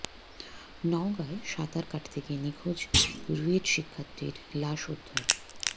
নওগাঁয় সাঁতার কাটতে গিয়ে নিখোঁজ রুয়েট শিক্ষার্থীর লাশ উদ্ধার